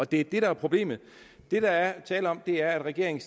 det er det der er problemet det der er tale om er at regeringen